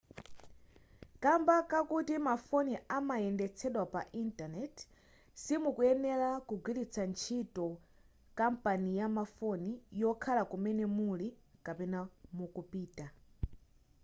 kamba kakuti mafoni amayendetsedwa pa intaneti simukuyenera kugwiritsa ntchio kampani ya mafoni yokhala kumene muli kapena mukupita